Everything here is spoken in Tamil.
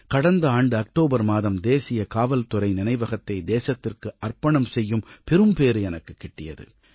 கடந்த ஆண்டு அக்டோபர் மாதம் தேசிய காவல்துறை நினைவகத்தை தேசத்திற்கு அர்ப்பணம் செய்யும் பெரும் பேறு எனக்குக் கிடைத்தது